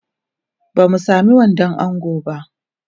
Ba mu sami wandon ango ba.